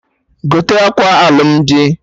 Gote akwa alụmdi!